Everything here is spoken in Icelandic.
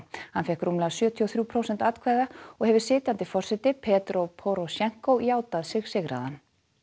hann fékk rúmlega sjötíu og þrjú prósent atkvæða og hefur sitjandi forseti Petró Porosjenkó játað sig sigraðan